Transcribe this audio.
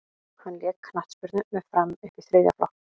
hann lék knattspyrnu með fram upp í þriðja flokk